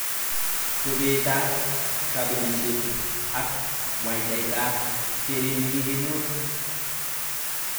Chobetab kabelishet ak mwwataitab keret nekokinyor